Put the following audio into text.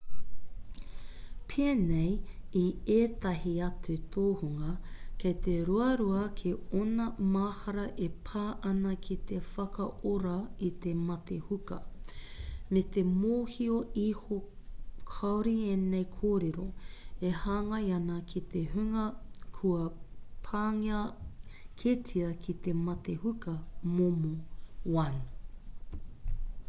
pēnei i ētahi atu tōhunga kei te ruarua kē ōna mahara e pā ana ki te whakaora i te mate huka me te mōhio iho kāore ēnei kōrero e hāngai ana ki te hunga kua pāngia kētia ki te mate huka momo 1